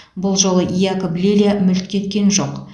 бұл жолы якоб лилья мүлт кеткен жоқ